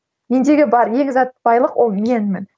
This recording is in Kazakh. мендегі бар ең зат байлық ол менмін